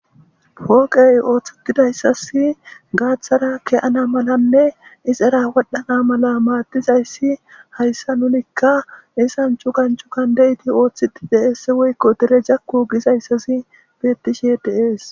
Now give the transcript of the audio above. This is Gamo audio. Pooqey ooththetidayssas gaaththara ke'ana malanne isera wodhana mala maadizayssi hayssa nunikka cugani cugani de'iti ooththiti de'eesse woykko dire jakku gizayssazi bettishe deees.